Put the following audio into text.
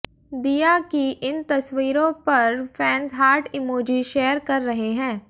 दीया की इन तस्वीरों पर फैंस हार्ट इमोजी शेयर कर रहे हैं